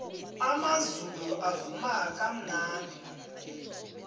amazulu avuma kamnandi